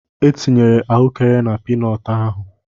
E tinyere ahụekere na pii nọọtụ ahụ.